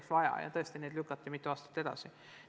Neid on aga tõesti juba mitu aastat edasi lükatud.